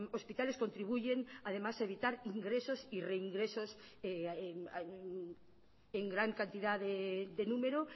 hospitales contribuyen además a evitar ingresos y reingresos en gran cantidad de número